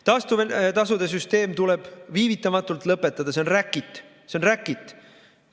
Taastuvtasude süsteem tuleb viivitamatult lõpetada, see on räkit.